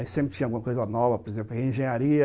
Aí sempre tinha alguma coisa nova, por exemplo, engenharia.